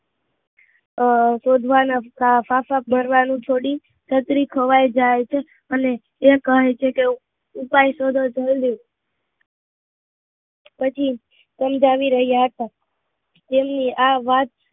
અમ આ શોધવાની ફાંફા કરવાનું છોડી છત્રી ખોવયા જાય છે, અને તે કહે છે કે ઉપાય શોધો ધવલદીપ પછી સમજાવી રહ્યા હતા તેમની આ વાત